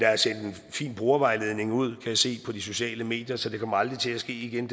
fin brugervejledning ud kan jeg se på de sociale medier så den fejl kommer aldrig til at ske igen